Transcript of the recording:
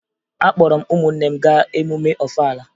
Akpọrọ m ụmụnne m gaa emume Ọfala